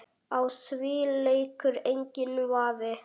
Á því leikur enginn vafi.